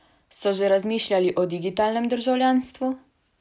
So že razmišljali o digitalnem državljanstvu?